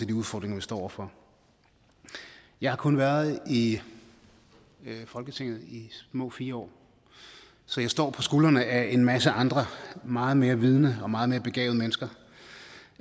de udfordringer vi står over for jeg har kun været i folketinget i små fire år så jeg står på skuldrene af en masse andre meget mere vidende og meget mere begavede mennesker